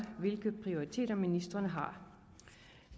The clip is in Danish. hvilke prioriteter ministrene har